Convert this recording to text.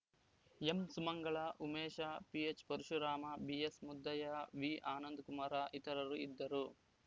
ಎಂಸುಮಂಗಳ ಉಮೇಶ ಪಿಎಚ್‌ಪರಶುರಾಮ ಬಿಎಸ್‌ಮುದ್ದಯ್ಯ ವಿಆನಂದಕುಮಾರ ಇತರರು ಇದ್ದರು